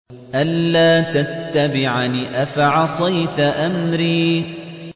أَلَّا تَتَّبِعَنِ ۖ أَفَعَصَيْتَ أَمْرِي